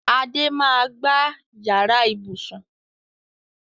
Adé máa gba yàrá ibùsùn